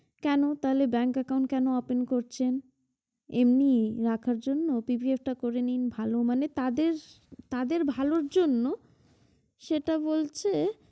কেন তাহলে bank account কেন open করছেন? এমনিই রাখার জন্য PPF টা করে নিন ভাল মানে তাদের তাদের ভালোর জন্য সেটা বলছে